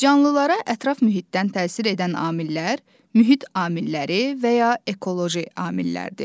Canlılara ətraf mühitdən təsir edən amillər mühit amilləri və ya ekoloji amillərdir.